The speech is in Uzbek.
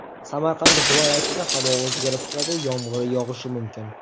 Samarqand viloyatida havo o‘zgarib turadi, yomg‘ir yog‘ishi mumkin.